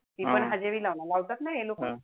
ती पण हजेरी लावणार लावतात ना हे लोक.